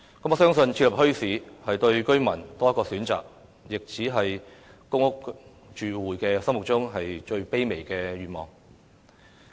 我相信，設立墟市是給居民多一個選擇，亦只是公屋住戶心目中最卑微的願望。